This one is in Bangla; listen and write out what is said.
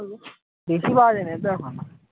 বেশি বাজে নি দেখো না